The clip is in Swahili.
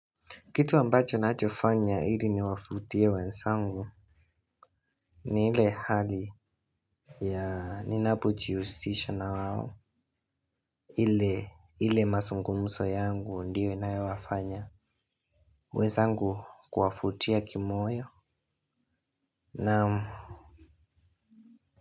Kitu ambacho nachofanya ili niwavutie wenzangu ni ile hali ya ninapujihusisha na wao ile mazungumzo yangu ndiyo inayowafanya wenzangu kuwavutia kimoyo naam.